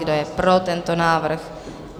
Kdo je pro tento návrh?